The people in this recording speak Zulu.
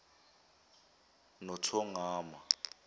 nothongama